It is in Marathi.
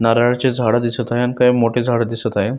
नारळाची झाड दिसत आहेत काही मोठी झाड दिसत आहे.